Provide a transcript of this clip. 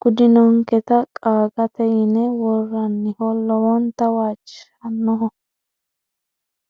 gudinonketa qaagate yine woraniho lowonta waajishannoho.